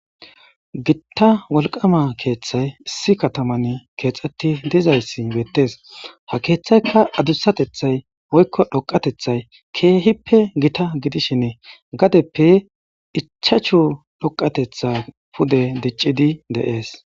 Gita wolqama keethtey issi kataman keexetidi dizayssi beetes ha keeththeyka gitatehayi woyiko dhoqatethayi gaddepe ichchachu pude dhoqidi dees.